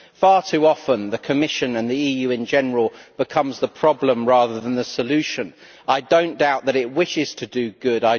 Far too often, the Commission, as well as the EU in general, becomes the problem rather than the solution. I do not doubt that it wishes to do good